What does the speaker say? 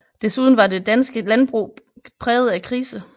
Desuden var det danske landbrug præget af krise